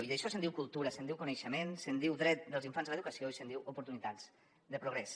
i d’això se’n diu cultura se’n diu coneixement se’n diu dret dels infants a l’educació i se’n diu oportunitats de progrés